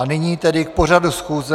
A nyní tedy k pořadu schůze.